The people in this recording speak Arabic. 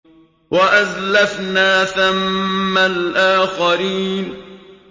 وَأَزْلَفْنَا ثَمَّ الْآخَرِينَ